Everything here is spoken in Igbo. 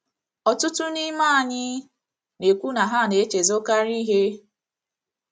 Ọtụtụ n’ime anyị na - ekwu na ha na - echezọkarị ihe.